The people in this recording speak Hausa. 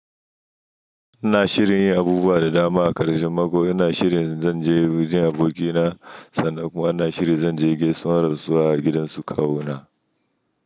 Ina shirin yin abubuwa da dama a ƙarshen mako. Ina shirin zan je wajen abokina. Sannan kuma ina shirin zan je gaisuwan rasuwa a gidansu kawona.